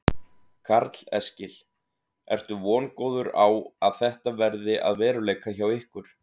Karl Eskil: Ertu vongóður á að þetta verði að veruleika hjá ykkur?